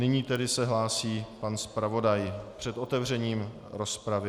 Nyní se tedy hlásí pan zpravodaj před otevřením rozpravy.